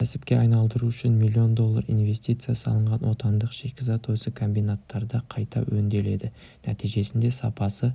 кәсіпке айналдыру үшін миллион доллар инвестиция салынған отандық шикізат осы комбинаттарда қайта өңделеді нәтижесінде сапасы